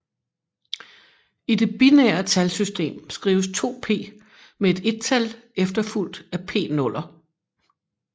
I det binære talsystem skrives 2p med et ettal efterfulgt af p nuller